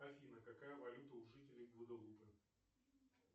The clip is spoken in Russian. афина какая валюта у жителей гваделупы